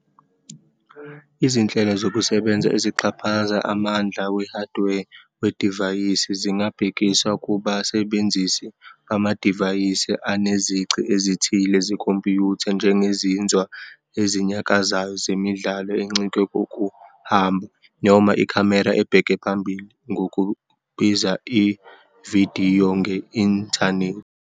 Izinhlelo zokusebenza ezixhaphaza amandla we-hardware wedivayisi zingabhekiswa kubasebenzisi bamadivayisi anezici ezithile zekhompiyutha, njengezinzwa ezinyakazayo, zemidlalo encike kokuhamba, noma ikhamera ebheke phambili, ngokubiza ividiyo nge-inthanethi.